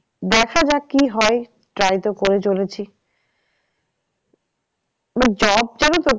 দেখা যাক কি হয় try তো করে চলেছি job